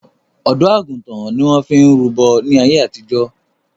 Ọ̀dọ́ àgùntàn ni wọn fi ń rúbọ̀ ní àyé àtìjọ́